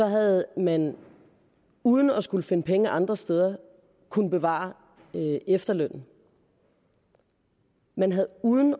havde man uden at skulle finde penge andre steder kunnet bevare efterlønnen man havde uden